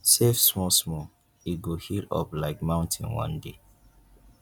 save small small e go hip up like mountain one day